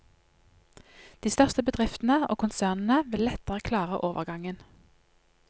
De største bedriftene og konsernene vil lettere klare overgangen.